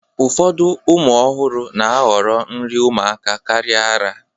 Ụfọdụ ụmụ ọhụrụ na-ahọrọ nri ụmụaka karịa ara